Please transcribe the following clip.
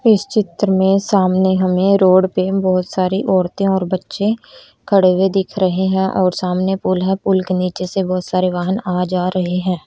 इस चित्र में सामने हमें रोड पे बहोत सारी औरतें और बच्चे खड़े हुए दिख रहे हैं और सामने पुल है पुल के नीचे से बहुत सारे वाहन आ जा रहे हैं।